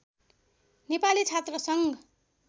Nepali छात्रसङ्घ